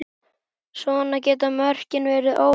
Svona geta mörkin verið óljós.